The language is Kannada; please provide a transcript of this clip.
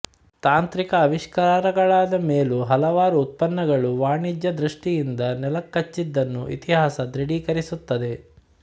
ತಾಂತ್ರಿಕ ಆವಿಷ್ಕಾರಗಳಾದ ಮೇಲೂ ಹಲವಾರು ಉತ್ಪನ್ನಗಳು ವಾಣಿಜ್ಯ ದ್ಋಷ್ಟಯಿಂದ ನೆಲ ಕಚ್ಚಿದ್ದನ್ನು ಇತಿಹಾಸ ದೃಢೀಕರಿಸುತ್ತದೆ